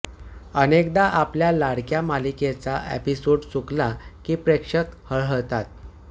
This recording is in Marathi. अनेकदा आपल्या लाडक्या मालिकेचा एपिसोड चुकला की प्रेक्षक हळहळतात